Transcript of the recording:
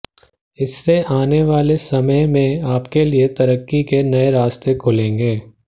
इससे आने वाले समय में आपके लिए तरक्की के नए रास्ते खुलेंगे